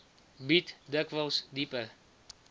bied dikwels dieper